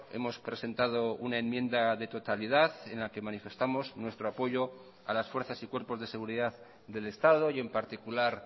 hemos presentado una enmienda de totalidad en la que manifestamos nuestro apoyo a las fuerzas y cuerpos de seguridad del estado y en particular